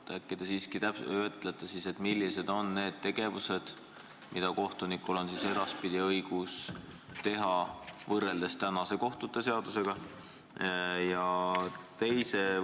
Äkki te siiski ütlete, millised on need lisategevused, mida kohtunikul on edaspidi õigus teha võrreldes praeguse kohtute seadusega?